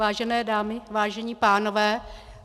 Vážené dámy, vážení pánové.